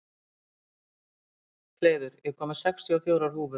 Hleiður, ég kom með sextíu og fjórar húfur!